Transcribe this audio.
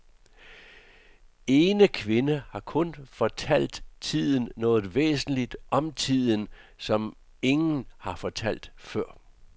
Ene kvinde har hun fortalt tiden noget væsentligt om tiden, som ingen har fortalt før.